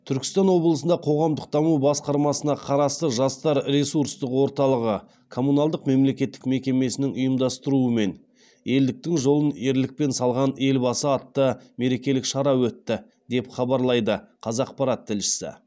түркістан облысында қоғамдық даму басқармасына қарасты жастар ресурстық орталығы коммуналдық мемлекеттік мекемесінің ұйымдастыруымен елдіктің жолын ерлікпен салған елбасы атты мерекелік шара өтті деп хабарлайды қазақпарат тілшісі